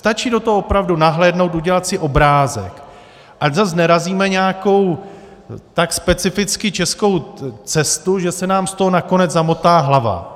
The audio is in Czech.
Stačí do toho opravdu nahlédnout, udělat si obrázek, ať zas nerazíme nějakou tak specificky českou cestu, že se nám z toho nakonec zamotá hlava.